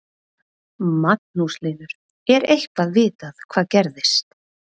Magnús Hlynur: Er eitthvað vitað hvað gerðist?